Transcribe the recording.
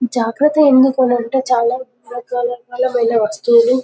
జాగ్రత్త ఎందుకు అని అంటే చాలా మంది రకరకాల అమూల్యమైన వస్తువులు